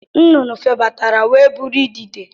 Nnụnụ febatara wee bụrụ idide